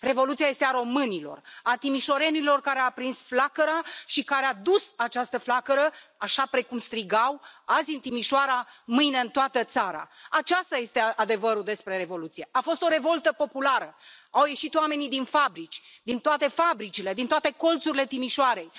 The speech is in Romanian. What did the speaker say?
Revoluția este a românilor, a timișorenilor care au aprins flacăra și care au dus această flacără, așa precum strigau Azi în Timișoara, mâine în toată țara! Acesta este adevărul despre Revoluție a fost o revoltă populară, au ieșit oamenii din fabrici, din toate fabricile, din toate colțurile Timișoarei.